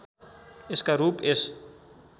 यसका रूप यस